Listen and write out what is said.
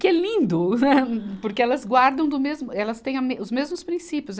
Que é lindo, né, porque elas guardam do mesmo, elas tem a mes, os mesmos princípios.